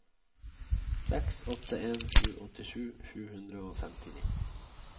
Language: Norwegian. seks åtte en sju åttisju sju hundre og femtini